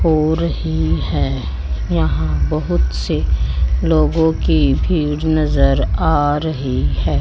हो रही है यहां बहुत से लोगों की भीड़ नजर आ रही है।